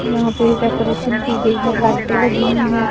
यहां पे डेकोरेशन की गई है लाइटें लगी हुई हैं।